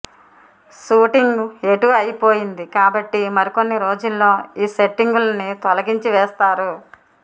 shooting ఎటూ అయిపోయింది కాబట్టి మరికొన్ని రోజుల్లో ఈ సెట్టింగులని తొలగించి వేస్తారు